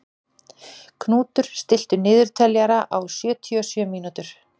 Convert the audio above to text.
Knútur, stilltu niðurteljara á sjötíu og sjö mínútur.